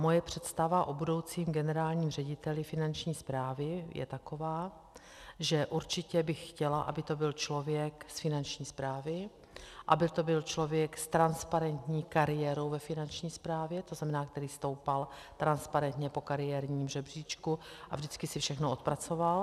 Moje představa o budoucím generálním řediteli Finanční správy je taková, že určitě bych chtěla, aby to byl člověk z Finanční správy, aby to byl člověk s transparentní kariérou ve Finanční správě, to znamená, který stoupal transparentně po kariérním žebříčku a vždycky si všechno odpracoval.